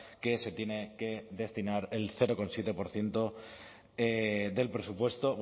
que se tiene que destinar el cero coma siete por ciento del presupuesto